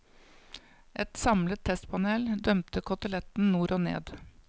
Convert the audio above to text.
Et samlet testpanel dømte koteletten nord og ned.